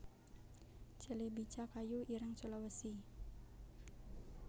celebica kayu ireng Sulawesi